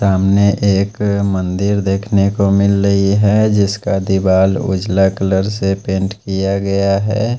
सामने एक मंदिर देखने को मिल रही है जिसका दीवाल उजला कलर से पेंट किया गया है।